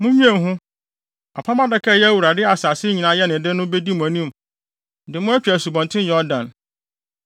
Munnwen ho! Apam Adaka a ɛyɛ Awurade a asase nyinaa yɛ ne de no bedi mo anim de mo atwa Asubɔnten Yordan.